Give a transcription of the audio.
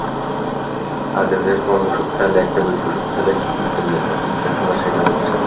আগে যে সব ওষুধ খাইলে একটা বার ওষুধ খাইলেই ঠিক হইয়া যেতো কিন্তু এখন আর সেটা হচ্ছে না,